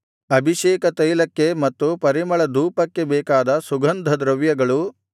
ಅಭಿಷೇಕತೈಲಕ್ಕೆ ಮತ್ತು ಪರಿಮಳಧೂಪಕ್ಕೆ ಬೇಕಾದ ಸುಗಂಧದ್ರವ್ಯಗಳು